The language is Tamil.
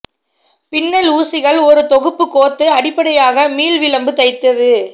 பின்னல் ஊசிகள் ஒரு தொகுப்பு கோந்து அடிப்படையாக மீள் விளிம்பு தைத்தது